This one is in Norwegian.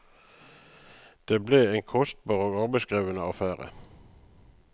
Det ble en kostbar og arbeidskrevende affære.